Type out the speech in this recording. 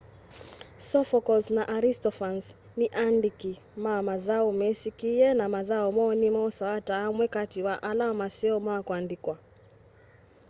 sophocles na aristophanes ni aandiki ma mathau mesikie na mathau moo ni mosawa ta amwe kati wa ala maseo ma kuandikwa